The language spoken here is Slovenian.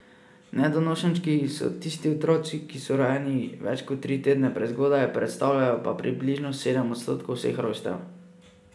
Nedonošenčki so tisti otroci, ki so rojeni več kot tri tedne prezgodaj, predstavljajo pa približno sedem odstotkov vseh rojstev.